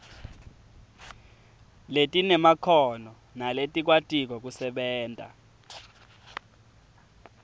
letinemakhono naletikwatiko kusebenta